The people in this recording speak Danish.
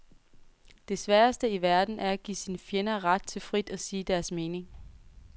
Det sværeste i verden er at give sine fjender ret til frit at sige deres mening.